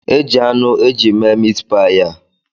E jị anụ eji mee miit paayi a